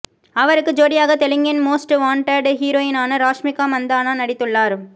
அவருக்கு ஜோடியாக தெலுங்கின் மோஸ்ட் வாண்டட் ஹீரோயினான ராஷ்மிகா மந்தானா நடித்துள்ளார்